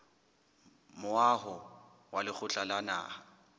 moaho wa lekgotla la naha